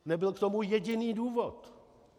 Nebyl k tomu jediný důvod.